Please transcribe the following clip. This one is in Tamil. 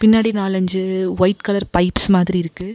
பின்னாடி நாலஞ்சு ஒயிட் கலர் பைப்ஸ் மாதிரி இருக்கு.